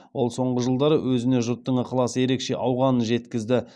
ол соңғы жылдары өзіне жұрттың ықыласы ерекше ауғанын жеткізді